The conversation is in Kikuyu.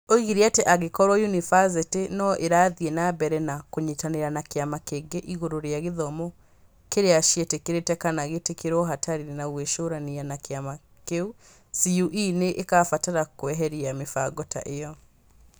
Oigire atĩ angĩkorwo yunibathĩtĩ no irathiĩ na mbere na kũnyitanĩra na kĩama kĩngĩ igũrũ rĩa gĩthomo kĩrĩa ciĩtĩkĩrĩĩtie kana gĩgĩtĩkĩrĩĩtio hatarĩ na gwĩcũrania na kĩama kĩu, CũE nĩ ĩkabatara kweheria mĩbango ta ĩyo.